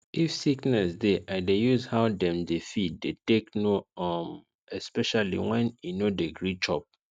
if sickness dey i dey use how dem dey feed dey take know um especially when e no dey gree chop